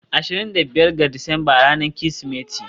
ashirin da biyar ga Disamba ranar Kirsimeti.